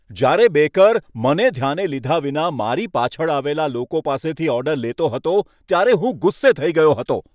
જ્યારે બેકર બેકરીમાં મને ધ્યાને લીધા વિના મારી પાછળ આવેલા લોકો પાસેથી ઓર્ડર લેતો હતો ત્યારે હું ગુસ્સે થઈ ગયો હતો.